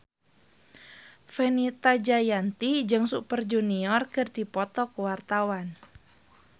Fenita Jayanti jeung Super Junior keur dipoto ku wartawan